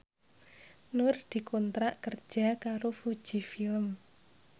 Nur dikontrak kerja karo Fuji Film